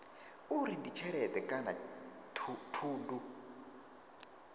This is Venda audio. uri ndi tshelede kana thundu